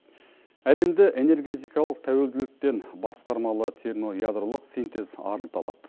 әлемді энергетикалық тәуелділіктен басқармалы термоядролық синтез арылта алады